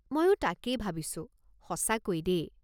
মইও তাকেই ভাবিছো, সঁচাকৈ দেই।